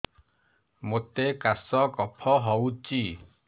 ମୋତେ କାଶ କଫ ହଉଚି